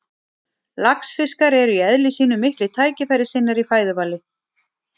Laxfiskar eru í eðli sínu miklir tækifærissinnar í fæðuvali.